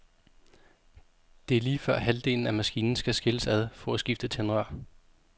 Det lige før halvdelen af maskinen skal skilles ad for at skifte tændrør.